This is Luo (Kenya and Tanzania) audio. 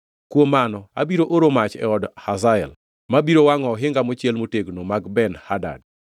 kuom mano abiro oro mach e od Hazael, ma biro wangʼo ohinga mochiel motegno mag Ben-Hadad.